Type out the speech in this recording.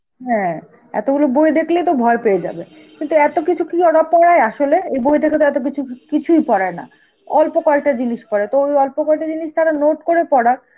হ্যাঁ এতগুলো বই দেখলেই তো ভয় পেয়ে যাবে. কিন্তু এত কিছু কি ওরা পড়ায় আসলে? এই বই থেকে তো এতকিছু কিছুই পড়ায় না. অল্প কয়টা জিনিস পড়ায়, তো ওই অল্প কয়টা জিনিস তারা note করে পড়াক.